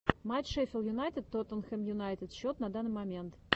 матч шеффилд юнайтед тоттенхэм юнайтед счет на данный момент